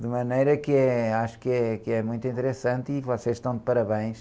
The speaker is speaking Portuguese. De maneira que acho que é, que é muito interessante e vocês estão de parabéns.